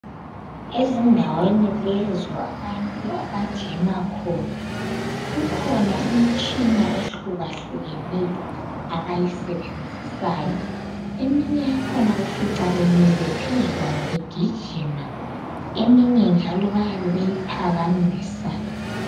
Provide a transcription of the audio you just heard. Ezindaweni lezo abantu abajima khona, kukhona imitshina ehlukahlukeneyo abayisebenzisayo eminye yakhona ufica bemile phezukwayo begijima eminye njalo bayabe beyiphakamisa.